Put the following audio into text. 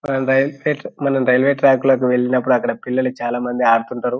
మనము railway track మీదకి వెళ్ళినప్పుడుఅక్కడ పిల్లలు చాలా మంది ఆడుతుంటరు.